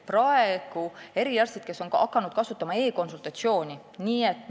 Perearstid on hakanud kasutama e-konsultatsiooni teenust.